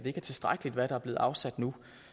ikke er tilstrækkeligt hvad der er blevet afsat nu